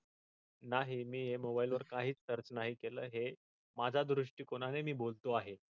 नाही मी मोबाइल वर काचीच नाही search केल हे माझ्या दृष्टिकोनाने मी बोलतो आहे.